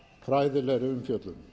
fræðilegri umfjöllun